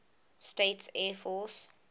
states air force